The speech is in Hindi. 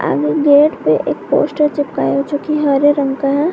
आगे गेट पे एक पोस्टर चिपका है जो की हरे रंग का है।